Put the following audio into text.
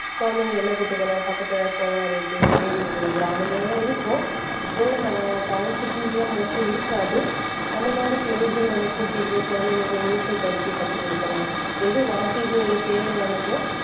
குழந்தைகளை என்ன கூட்டுப்போலாம் பக்கத்துல குளம் இருக்கு ஏரி இருக்கு கிராமங்களெல்லாம் இருக்கும். இப்பவுள்ள நான் town cities ல mostly இருக்காது அந்த மாதிரி place க்கு நம்ம கூட்டிட்டு போய் குழந்தைகளுக்கு ஒரு நீச்சல் பயிற்சியை கத்துக் கொடுக்கலாம். எது வாழ்க்கைக்கு ஒரு தேவையானதோ